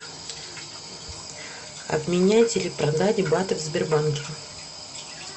обменять или продать баты в сбербанке